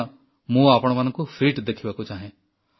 କାରଣ ମୁଁ ଆପଣମାନଙ୍କୁ ସୁସ୍ଥ ଦେଖିବାକୁ ଚାହେଁ